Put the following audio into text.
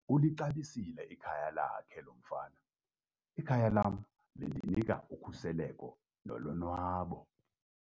Ulixabisile ikhaya lakhe lo mfana. ikhaya lam lindinika ukhuseleko nolonwabo